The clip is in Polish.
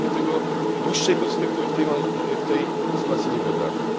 Ja sobie dłuższej perspektywy w tej sytuacji nie wyobrażam.